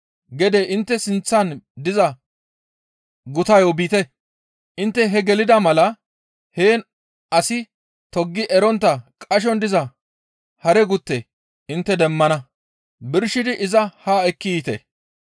«Gede intte sinththan diza gutayo biite. Intte he gelida mala heen asi toggi erontta qashon diza hare gutte intte demmana; birshidi iza haa ekki yiite.